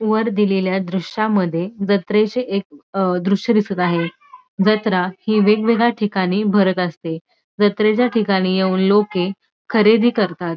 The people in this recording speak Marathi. वर दिलेल्या दृश्यामध्ये जत्रेचे एक अ दृश्य दिसत आहे जत्रा ही वेगवेगळ्या ठिकाणी भरत असते जत्रेच्या ठिकाणी येऊन लोके खरेदी करतात.